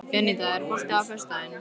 Eníta, er bolti á föstudaginn?